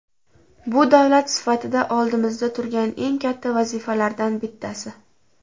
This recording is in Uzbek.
Bu davlat sifatida oldimizda turgan eng katta vazifalardan bittasi.